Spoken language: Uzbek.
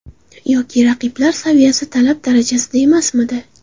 Yoki raqiblar saviyasi talab darajasida emasmidi?